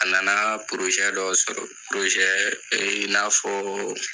A nana dɔ sɔrɔ i n'a fɔɔ